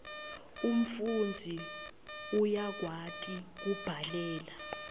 umfundzi uyakwati kubhalela